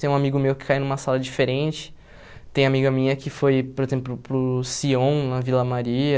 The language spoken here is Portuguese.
Tem um amigo meu que caiu numa sala diferente, tem amiga minha que foi, por exemplo, para o Sion, na Vila Maria.